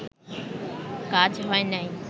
কাজ হয় নাই